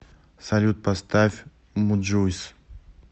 салют поставь муджуйс